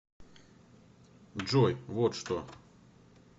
джой вот что